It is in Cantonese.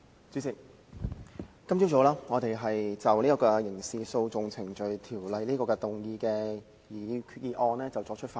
主席，我們今早繼續就根據《刑事訴訟程序條例》動議的擬議決議案辯論。